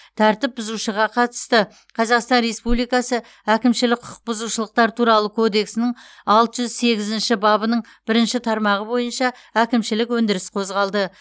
тәртіп бұзушыға қатысты қазақстан республикасы әкімшілік құқыбұзушылықтар туралы кодексінің алты жүз сегізінші бабының бірінші тармағы бойынша әкімшілік өндіріс қозғалды